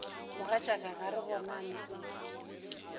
mogatšaka ga re bonane o